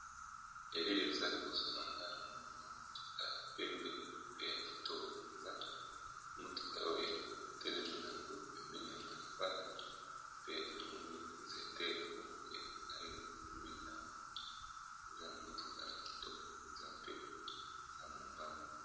Elili eza liboso na ngaa na momi mwa motuka ya pembe pe ya kitoko mpenza, motuka oyo etelemi na yango pembeni ya balabala, pe namoni nzete moko ya molayi, pembeni nango motuka ya kitoko mpenza mpe eza mobamba.